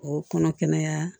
O kɔnɔ kɛnɛya